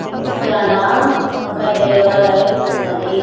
ఇక్కడ ఒక దేవాలయం ఉన్నది.